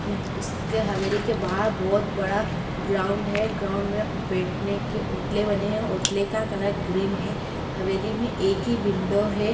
यहां उसके हवेली के बाहर बहुत बड़ा ग्राउन्ड है ग्राउन्ड मे बैठने के ओटले बने हैं ओटले का कलर ग्रीन है हवेली मे एक ही विन्डो है।